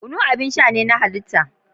Kunu abin sha ne na halitta.